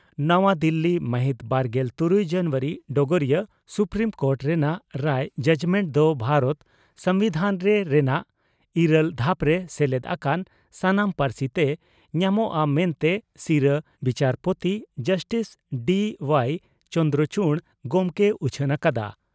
ᱱᱟᱣᱟ ᱫᱤᱞᱤ ᱢᱟᱦᱤᱛ ᱵᱟᱨᱜᱮᱞ ᱛᱩᱨᱩᱭ ᱡᱟᱱᱩᱣᱟᱨᱤ (ᱰᱚᱜᱚᱨᱤᱭᱟᱹ) ᱺ ᱥᱩᱯᱨᱤᱢ ᱠᱳᱴ ᱨᱮᱱᱟᱜ ᱨᱟᱭ (ᱡᱟᱡᱽᱢᱮᱱᱴ) ᱫᱚ ᱵᱷᱟᱨᱚᱛ ᱥᱚᱢᱵᱤᱫᱷᱟᱱᱨᱮ ᱨᱮᱱᱟᱜ ᱤᱨᱟᱹᱞ ᱫᱷᱟᱯᱨᱮ ᱥᱮᱞᱮᱫ ᱟᱠᱟᱱ ᱥᱟᱱᱟᱢ ᱯᱟᱹᱨᱥᱤᱛᱮ ᱧᱟᱢᱚᱜᱼᱟ ᱢᱮᱱᱛᱮ ᱥᱤᱨᱟᱹ ᱵᱤᱪᱟᱹᱨᱯᱳᱛᱤ ᱡᱟᱥᱴᱤᱥ ᱰᱤᱹᱚᱣᱟᱣ ᱪᱚᱫᱽᱨᱚᱪᱩᱰ ᱜᱚᱢᱠᱮᱭ ᱩᱪᱷᱟᱹᱱ ᱟᱠᱟᱫᱼᱟ ᱾